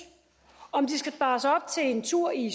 om de skal spares op til en tur i